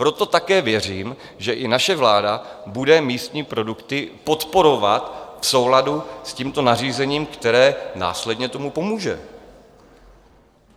Proto také věřím, že i naše vláda bude místní produkty podporovat v souladu s tímto nařízením, které následně tomu pomůže.